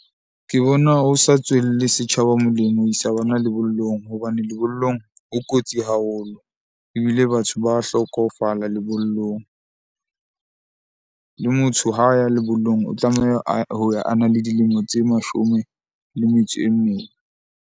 Ke bona ho sa tswelle setjhaba molemo ho isa bona lebollong hobane lebollong ho kotsi haholo. Ebile batho ba hlokofala lebollong. Le motho ha ya lebollong o tlameha ho ya a le dilemo tse mashome le metso e mene.